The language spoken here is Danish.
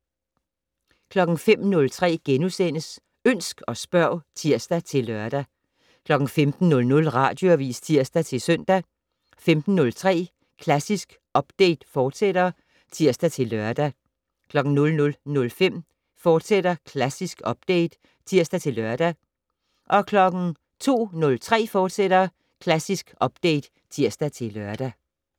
05:03: Ønsk og spørg *(tir-lør) 15:00: Radioavis (tir-søn) 15:03: Klassisk Update, fortsat (tir-lør) 00:05: Klassisk Update *(tir-lør) 02:03: Klassisk Update, fortsat (tir-lør)